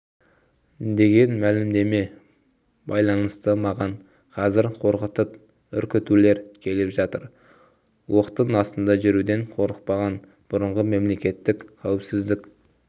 деген мәлімдемеме байланысты маған қазыр қорқытып-үркітулер келіп жатыр оқтың астында жүруден қорықпаған бұрынғы мемлекеттік қауіпсіздік